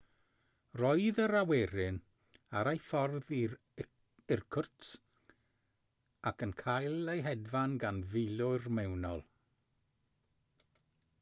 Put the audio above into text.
roedd yr awyren ar ei ffordd i irkutsk ac yn cael ei hedfan gan filwyr mewnol